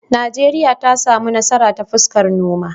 Najeriya ta samu nasara ta fuskar noma.